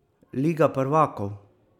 Liga prvakov?